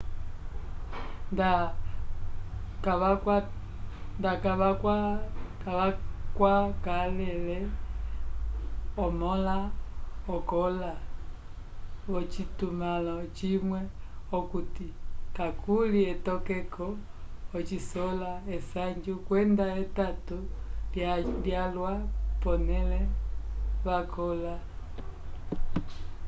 nda kakwakalele omõla okõla v'ocitumãlo cimwe okuti kakuli etokeko ocisola esanju kwenda etato lyalwa pole vakõla